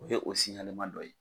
O ye o dɔ ye